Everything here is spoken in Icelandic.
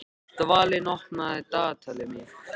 Dvalinn, opnaðu dagatalið mitt.